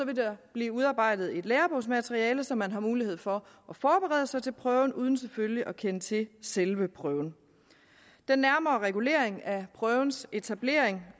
der blive udarbejdet et lærebogsmateriale så man har mulighed for at forberede sig til prøven uden selvfølgelig at kende til selve prøven den nærmere regulering af prøvens etablering